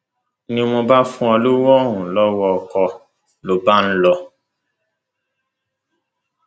ni mo bá fún un lowó un lowó ọkọ ló bá lọ